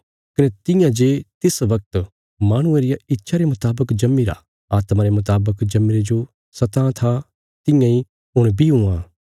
कने तियां जे तिस बगत माहणुये रिया इच्छा रे मुतावक जम्मीरा आत्मा रे मुतावक जम्मीरे जो सतां था तियां इ हुण बी हुआं